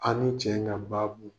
An ni cɛ in ka babu,